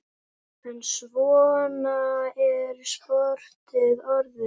En svona er sportið orðið.